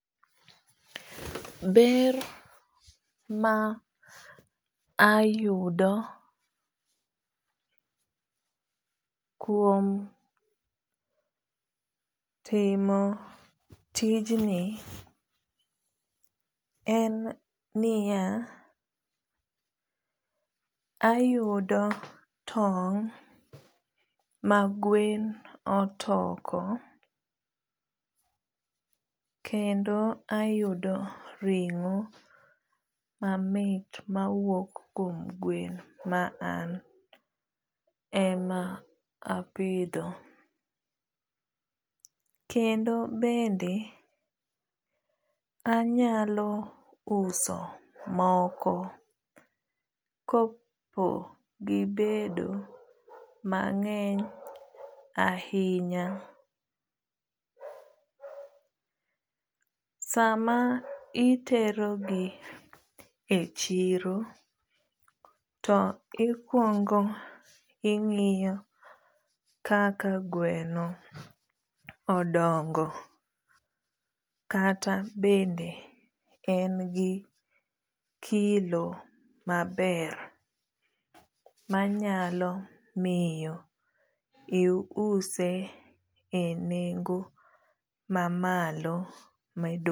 Ber mayudo kuom timo tijni en niya ayudo tong magwen otoko kendo ayudo ringo mamit mawuok kuom gwen maan ema apidho kendo bende anyauso moko kopo gibedo mangeny ahinya. Sama itero gi e chiro tikuono ingiya kaka gweno odongo kata bende en gi kilo maber manyalo miyo iuse e nengo mamalo